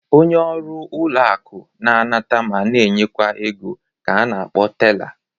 Onye ọrụ ụlọ akụ na-anata ma na-enyekwa ego ka a na-akpọ tela.